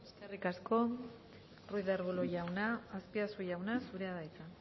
eskerrik asko ruiz de arbulo jauna azpiazu jauna zurea da hitza